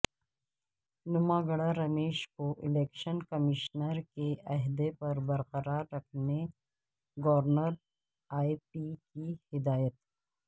نماگڈہ رمیش کو election commissioner کے عہدہ پر برقرار رکھنے گورنر اے پی کی ہدایت